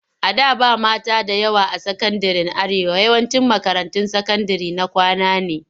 A da ba mata da yawa a sakandiren Arewa. yawancin makarantun sakandire na kwana ne.